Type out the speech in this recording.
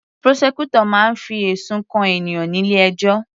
Prosecutor máa ń fi ẹ̀sùn kan ènìyàn nílé ẹjọ́